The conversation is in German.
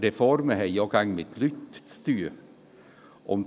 Reformen haben auch immer mit Leuten zu tun.